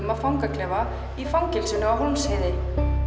af fangaklefa í fangelsinu á Hólmsheiði